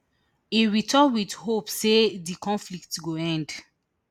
e return wit hope say di conflict go end